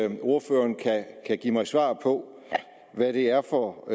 om ordføreren kan give mig svar på hvad det er for